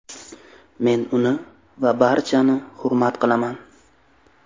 Men uni va barchani hurmat qilaman.